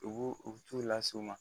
Ubu u tu lase u ma